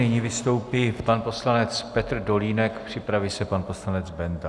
Nyní vystoupí pan poslanec Petr Dolínek, připraví se pan poslanec Benda.